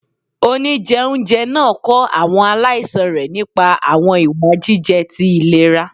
Onijẹunjẹ naa kọ awọn alaisan rẹ nipa awọn iwa jijẹ ti ilera.